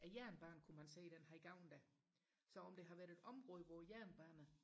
jernbanen kunne man se den her gamle så om det har været et område hvor jernbanen